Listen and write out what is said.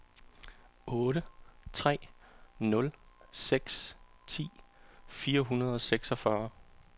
otte tre nul seks ti fire hundrede og seksogfyrre